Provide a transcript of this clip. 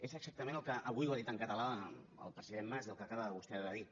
és exactament el que avui ha dit en català el president mas i el que acaba vostè de dir